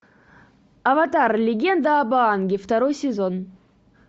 аватар легенда об аанге второй сезон